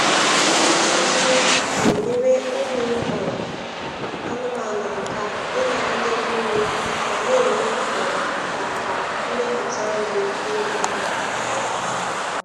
Ịracha nnu na-enyere ụmụ um anụmanụ aka ịnagide mmiri ma na-eme um ka ka mmeputa nri dị mma. um